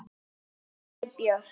Sóley Björk